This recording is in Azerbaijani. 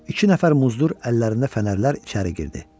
İki nəfər muzdur əllərində fənərlər içəri girdi.